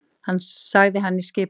sagði hann í skipunarrómi.